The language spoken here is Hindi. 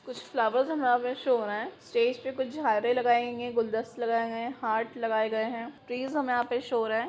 कुछ फ्लावर शो हो रहा हैस्टेज पे कुछ झारिया लगाये गए हैं गुलदस्ते लगाये गए हैं हार्ट लगाये गए है ट्रीज यहां पे हमे शो हो रहे है।